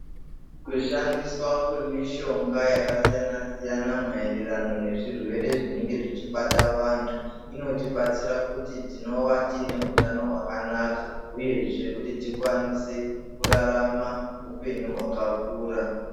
Kushandiswa kwemishonga yakasiyana siyana maererano nezvirwere zvinenge zvichibata vantu inotibatsira kuti tinova tiine hutano hwakanaka uyezve kuti tikwanise kurarama hupenyu hwakakura.